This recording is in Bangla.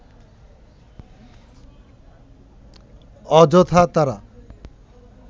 অযথা তারা